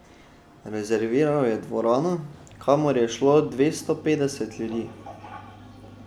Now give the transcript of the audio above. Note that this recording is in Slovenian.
Rezerviral je dvorano, kamor je šlo dvesto petdeset ljudi.